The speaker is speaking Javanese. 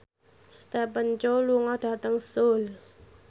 Stephen Chow lunga dhateng Seoul